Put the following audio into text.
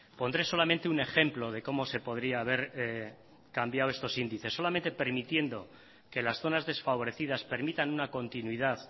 pondré solamente un ejemplo de cómo se podría haber cambiado estos índices solamente permitiendo que las zonas desfavorecidas permitan una continuidad